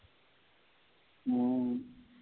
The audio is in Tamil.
ம்.